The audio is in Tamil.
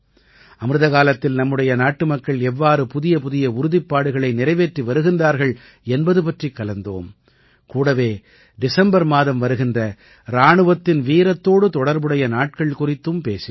அமிர்தகாலத்தில் நம்முடைய நாட்டுமக்கள் எவ்வாறு புதியபுதிய உறுதிப்பாடுகளை நிறைவேற்றி வருகின்றார்கள் என்பது பற்றிக் கலந்தோம் கூடவே டிசம்பர் மாதம் வருகின்ற இராணுவத்தின் வீரத்தோடு தொடர்புடைய நாட்கள் குறித்தும் பேசினோம்